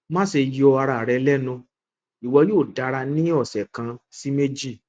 maṣe yọ ara rẹ lẹnu iwọ yoo dara ni ọsẹ kan si meji